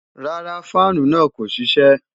Rárá, fáànù náà kò ṣiṣẹ́